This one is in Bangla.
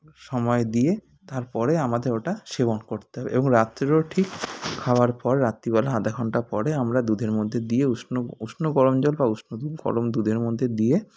সময় দিয়ে তারপরে আমাদের ওটা সেবন করতে হবে এবং রাত্তিরেও ঠিক খাওয়ার পর রাত্রি বেলা আধাঘণ্টা পরে আমরা দুধের মধ্যে দিয়ে উষ্ণ উষ্ণ গরম জল বা উষ্ণ দুধ গরম দুধের মধ্যে দিয়ে